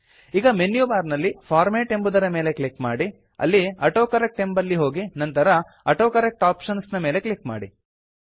ಈಗ ಮೆನ್ಯುಬಾರ್ ನಲ್ಲಿ ಫಾರ್ಮ್ಯಾಟ್ ಎಂಬುದರ ಮೇಲೆ ಕ್ಲಿಕ್ ಮಾಡಿ ಅಲ್ಲಿ ಆಟೋಕರೆಕ್ಟ್ ಎಂಬಲ್ಲಿ ಹೋಗಿ ನಂತರ ಆಟೋಕರೆಕ್ಟ್ ಆಪ್ಷನ್ಸ್ ನ ಮೇಲೆ ಕ್ಲಿಕ್ ಮಾಡಿ